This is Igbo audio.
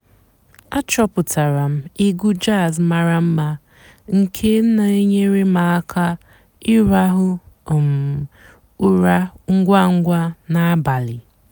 àchọ́pụ́tárá m ègwú jàzz màrà m̀ma nkè nà-ènyééré m àká ị̀ràhụ́ um ụ́rà ǹgwá ǹgwá n'àbàlí.